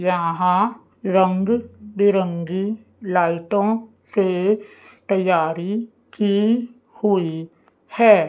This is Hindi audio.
यहां रंग बिरंगी लाइटों से तैयारी की हुई है।